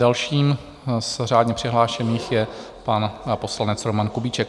Dalším z řádně přihlášených je pan poslanec Roman Kubiček.